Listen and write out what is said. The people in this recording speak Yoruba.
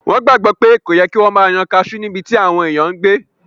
Wọ́n gbàgbọ́ pé kò yẹ kí wọ́n máa yan kaasú níbití àwọn èèyàn n gbé